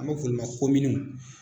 An b'a fɔ olu ma kominw